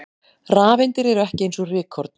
Rafeindir eru ekki eins og rykkorn!